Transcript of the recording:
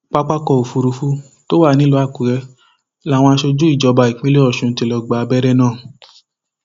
pápákọ òfurufú tó wà nílùú àkùrẹ làwọn aṣojú ìjọba ìpínlẹ ọṣun ti lọọ gba àwọn abẹrẹ náà